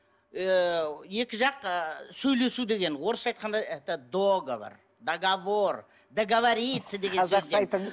ыыы екі жақ ы сөйлесу деген орысша айтқанда это договор договор договориться деген сөзден